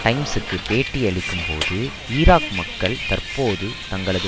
டைம்ஸ்க்கு பேட்டியளிக்கும்போது ஈராக் மக்கள் தற்போது தங்களது